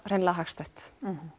raun hagstætt